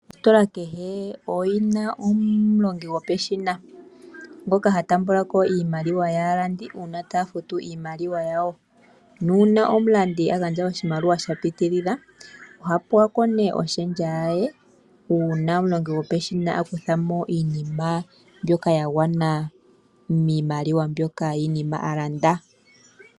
Ositola kehe oyina omulongi gopeshina ngoka ha taambula ko iimaliwa yaalandi uuna taya futu iimaliwa yawo. Nuuna omulandi a gandja oshimaliwa sha pitilila, oha pewa ko nee oshendja yaye uuna omulongi gopeshina a kutha mo iinima mbyoka ya gwana miimaliwa yiinima mbyoka a landa.